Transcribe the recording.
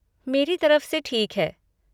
मेरी तरफ से ठीक है।